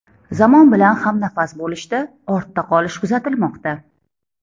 Zamon bilan hamnafas bo‘lishda ortda qolish kuzatilmoqda.